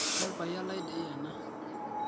Nelpayian lai dei ana